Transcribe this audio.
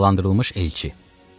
Cəzalandırılmış elçi.